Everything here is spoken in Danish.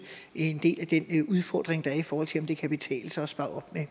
en del af den udfordring der er i forhold til om det kan betale sig at spare op